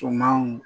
Sumanw